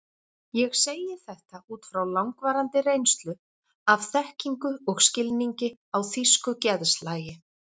Ég segi þetta út frá langvarandi reynslu, af þekkingu og skilningi á þýsku geðslagi.